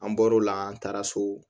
An bɔr'o la an taara so